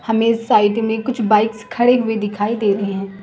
हमें साइड में कुछ बाइक्स खड़े हुए दिखाई दे रहे हैं।